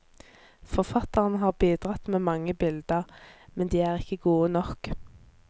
For fatteren har bidratt med mange bilder, men de er ikke gode nok.